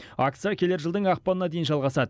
акция келер жылдың ақпанына дейін жалғасады